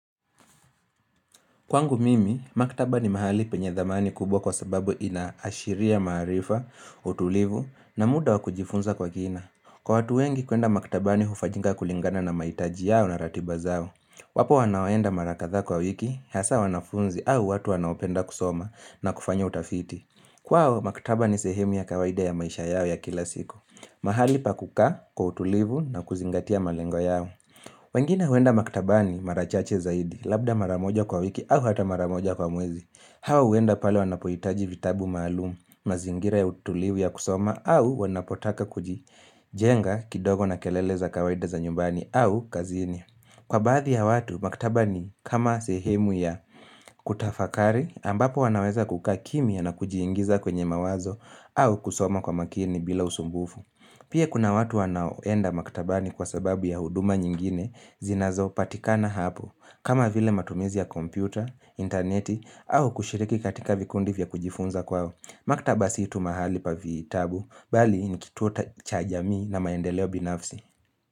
Kwangu mimi, maktaba ni mahali penye dhamani kubwa kwa sababu inaashiria maarifa, utulivu na muda wa kujifunza kwa kina. Kwa watu wengi kuenda maktabani hufajinga kulingana na maitaji yao na ratiba zao. Wapo wanaoenda mara kathaa kwa wiki, hasa wanafunzi au watu wanaopenda kusoma na kufanya utafiti. Kwao, maktaba ni sehemu ya kawaida ya maisha yao ya kila siku. Mahali pa kukaa kwa utulivu na kuzingatia malengo yao. Wengine huenda maktabani mara chache zaidi, labda mara moja kwa wiki au hata mara moja kwa mwezi. Hawa huenda pale wanapohitaji vitabu maalum, mazingira ya utulivu ya kusoma au wanapotaka kujijenga kidogo na kelele za kawaida za nyumbani au kazini. Kwa baadhi ya watu, maktaba ni kama sehemu ya kutafakari ambapo wanaweza kukaa kimya na kujiingiza kwenye mawazo au kusoma kwa makini bila usumbufu. Pia kuna watu wanaoenda maktabani kwa sababu ya huduma nyingine zinazo patikana hapo kama vile matumizi ya kompyuta, intaneti au kushiriki katika vikundi vya kujifunza kwao Maktaba si tu mahali pa vitabu bali nikituo ta cha jamii na maendeleo binafsi.